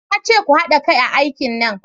Na ce ku hada kai a aikin nan!